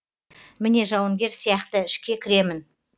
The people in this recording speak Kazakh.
міне жауынгер сияқты ішке кіремін